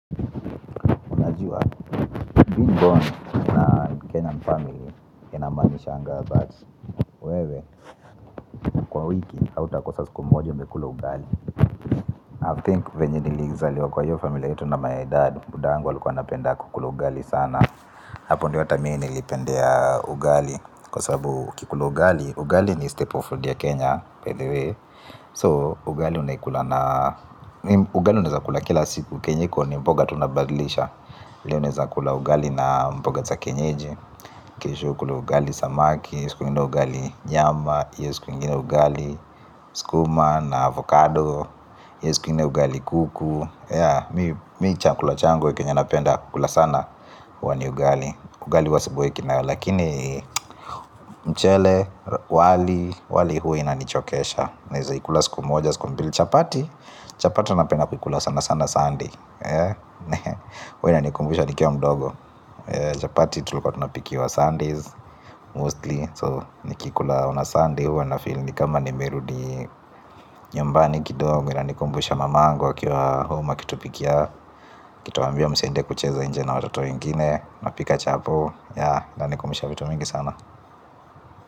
Najuwa, being born, in a Kenyan family, inamanishanga that. Wewe, kwa wiki, hauta kosa siku moja, umekula ugali. I think venye nilizaliwa kwa hiyo familia yetu na my dad, Budangu, alikuwa anapenda kukula ugali sana. Hapo ndio hata mi nilipendea ugali. Kwa sababu, ukikula ugali, ugali ni staple food ya Kenya, by the way. So, ugali unaikula na, ugali unaeza kula kila siku kenye iko, ni mboga tu unabadilisha. Unakula ugali na mboga za kienyeji. Kesho ukule ugali samaki, siku ingine ugali nyama, io siku ingine ugali skuma na avocado, hio siku ingine ugali kuku yea mi. Mi chakula changu kenye napenda, kukula sana huwa ni ugali. Ugali huwa siboeki nayo, lakini mchele, wali, wali huwa inanichokesha. Naeza ikula siku moja, siku mbili, chapati, chapati ndio napenda kuikula sana sana sunday. Huwa inanikumbusha nikiwa mdogo chapati tulikuwa tunapikiwa sundays Mostly So nikikula on a sunday huwa na feel ni kama nimerudi nyumbani kidogo inanikumbusha mamangu akiwa home akitupikia aKituambia msiende kucheza nje na watoto wengine. Napika chapo yea inanikumbusha vitu mingi sana.